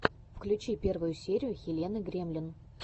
включи первую серию хелены гремлин